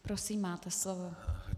Prosím, máte slovo.